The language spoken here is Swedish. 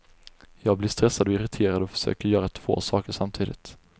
Jag blir stressad och irriterad och försöker göra två saker samtidigt.